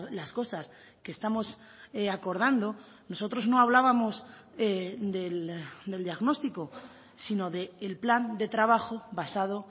las cosas que estamos acordando nosotros no hablábamos del diagnóstico sino del plan de trabajo basado